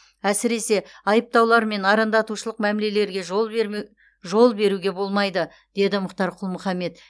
әсіресе айыптаулар мен арандатушылық мәлімдемелерге жол беруге болмайды деді мұхтар құл мұхаммед